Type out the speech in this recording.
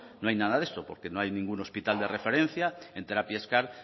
no hay nada de eso porque no hay ningún hospital de referencia en terapias car